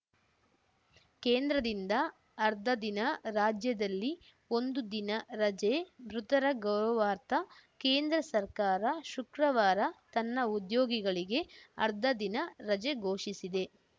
ಕೇಂದ್ರದಿಂದ ಅರ್ಧದಿನ ರಾಜ್ಯದಲ್ಲಿ ಒಂದು ದಿನ ರಜೆ ಮೃತರ ಗೌರವಾರ್ಥ ಕೇಂದ್ರ ಸರ್ಕಾರ ಶುಕ್ರವಾರ ತನ್ನ ಉದ್ಯೋಗಿಗಳಿಗೆ ಅರ್ಧ ದಿನ ರಜೆ ಘೋಷಿಸಿದೆ